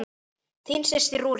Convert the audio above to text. Hún þjónar